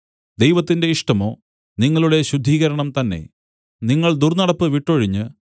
ദൈവത്തിന്റെ ഇഷ്ടമോ നിങ്ങളുടെ ശുദ്ധീകരണം തന്നേ നിങ്ങൾ ദുർന്നടപ്പ് വിട്ടൊഴിഞ്ഞ്